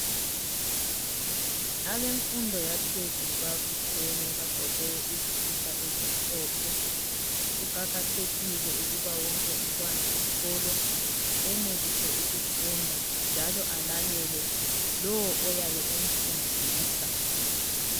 abemfundo yaphezulu babuthene bagqoke izikipa ezimhlophe kuqakathekile ukuba wonke umntwana wesikolo enelise ukufunda njalo alalele lowo oyabe emfundisa